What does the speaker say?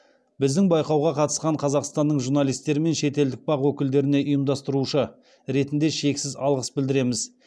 біздің байқауға қатысқан қазақстанның журналистері мен шетелдік бақ өкілдеріне ұйымдастырушы ретінде шексіз алғыс білдіреміз